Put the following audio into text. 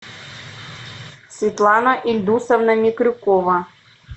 светлана ильдусовна микрюкова